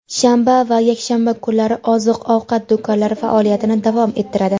Shanba va yakshanba kunlari oziq-ovqat do‘konlari faoliyatini davom ettiradi.